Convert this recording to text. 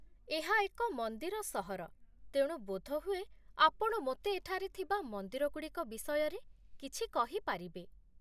ଏହା ଏକ ମନ୍ଦିର ସହର, ତେଣୁ ବୋଧହୁଏ ଆପଣ ମୋତେ ଏଠାରେ ଥିବା ମନ୍ଦିରଗୁଡ଼ିକ ବିଷୟରେ କିଛି କହିପାରିବେ?